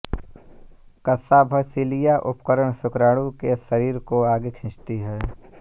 कशाभसीलिया उपकरण शुक्राणु के शरीर को आगे खींचती है